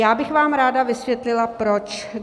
Já bych vám ráda vysvětlila, proč.